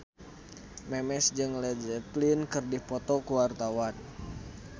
Memes jeung Led Zeppelin keur dipoto ku wartawan